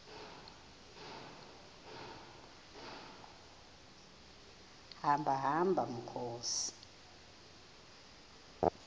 hamba hamba mkhozi